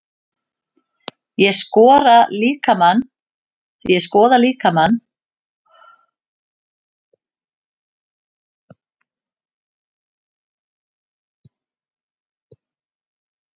Ég skoða líkamann og líffærin til að sjá hvort eitthvað sé að.